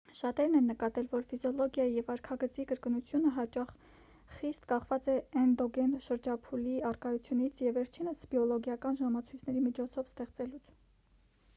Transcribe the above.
շատերն են նկատել որ ֆիզիոլոգիայի և վարքագծի կրկնությունը հաճախ խիստ կախված է էնդոգեն շրջափուլերի առկայությունից և վերջինիս բիոլոգիական ժամցույցների միջոցով ստեղծելուց